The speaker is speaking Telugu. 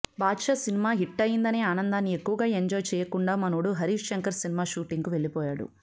బాద్షా సినిమా హిట్టయ్యిందనే ఆనందాన్ని ఎక్కువగా ఎంజాయ్ చెయ్యకుండా మనోడు హరీశ్ శంకర్ సినిమా షూటింగుకు వెళ్ళిపోయాడు